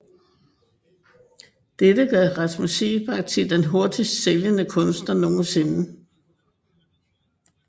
Dette gør Rasmus Seebach til den hurtigst sælgende kunstner nogensinde